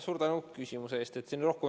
Suur tänu küsimuse eest!